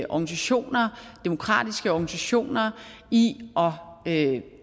organisationer demokratiske organisationer i at